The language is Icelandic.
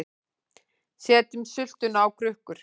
Setjum sultuna á krukkur